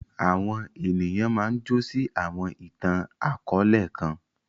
Àwọn ènìyàn máa ǹ jọ̀ sí awọn itan-akọọlẹ kan.